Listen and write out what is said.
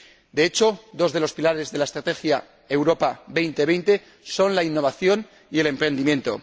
De hecho, dos de los pilares de la Estrategia Europa 2020 son la innovación y el emprendimiento.